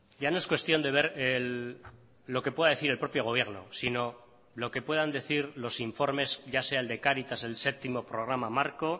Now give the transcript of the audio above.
ya no es cuestión de ver lo que pueda decir el propio gobierno sino lo que puedan decir los informes ya sea el de cáritas el séptimo programa marco